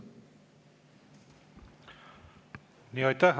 Aitäh!